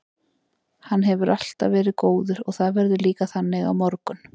Hann hefur alltaf verið góður og það verður líka þannig á morgun.